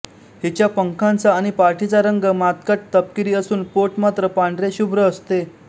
हिच्या पंखांचा आणि पाठीचा रंग मातकट तपकिरी असून पोट मात्र पांढरेशुभ्र असते